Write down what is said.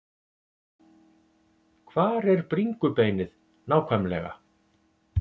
Hvar er bringubeinið nákvæmlega?